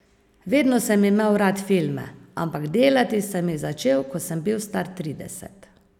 Vedno sem imel rad filme, ampak delati sem jih začel, ko sem bil star trideset.